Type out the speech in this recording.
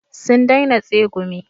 Sun daina tsegumi